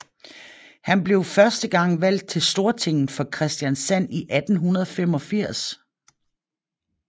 Han blev første gang valgt til Stortinget for Kristiansand i 1885